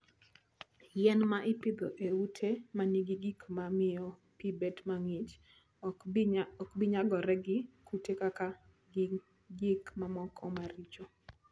Yien ma ipidho e ute ma nigi gik ma miyo pi bedo mang'ich, ok bi nyagore gi kute kata gi gik mamoko maricho.